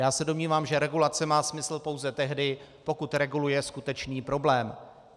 Já se domnívám, že regulace má smysl pouze tehdy, pokud reguluje skutečný problém.